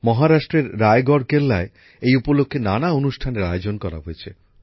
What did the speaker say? মহারাষ্ট্রের রায়গড় কেল্লায় এই উপলক্ষে নানা অনুষ্ঠানের আয়োজন করা হয়েছে